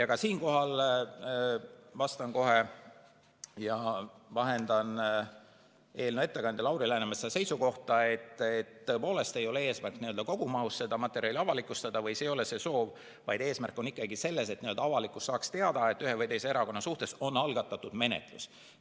Ka siinkohal vahendan kohe eelnõu ettekandja Lauri Läänemetsa seisukohta, et tõepoolest ei ole eesmärk kogumahus seda materjali avalikustada või see ei ole soov, vaid eesmärk on ikkagi selles, et avalikkus saaks teada, et ühe või teise erakonna suhtes on algatatud menetlus.